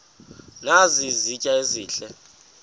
nazi izitya ezihle